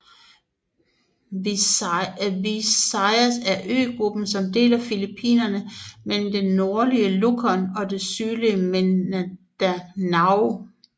Visayas er øgruppen som deler Filippinerne mellem det nordlige Luzon og det sydlige Mindanao